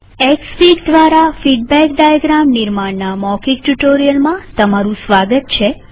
Xfig દ્વારા feedback diagram નિર્માણ ના મૌખિક ટ્યુ્ટોરીઅલમાં સ્વાગત છે